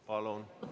Palun!